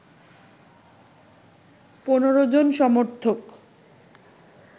১৫ জন সমর্থক